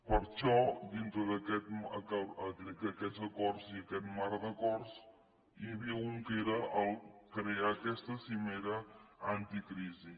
per això dintre d’aquests acords i aquest marc d’acords n’hi havia un que era crear aquesta cimera anticrisi